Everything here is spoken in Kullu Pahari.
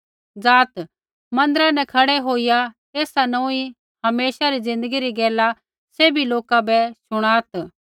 ज़ाआत् मन्दिरा न खड़ै होईया एसा नोंऊँई हमेशा री ज़िन्दगी री गैला सैभी लोका बै शुणात्